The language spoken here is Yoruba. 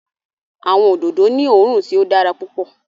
Awọn ododo ni oòrùn tí o dára pupọ